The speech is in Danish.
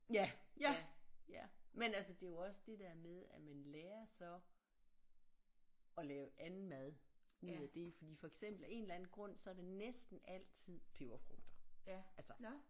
Ja ja ja men altså det er jo også det der med at man lærer så at lave anden mad ud af det fordi for eksempel af en eller anden så er det næsten altid peberfrugter altså